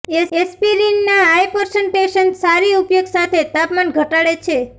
aspirin ના hypertension સારી ઉપયોગ સાથે તાપમાન ઘટાડે છે